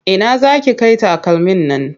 Ina za ki kai takalmin nan?